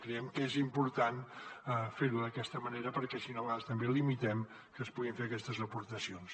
creiem que és important fer ho d’aquesta manera perquè si no a vegades també limitem que es puguin fer aquestes aportacions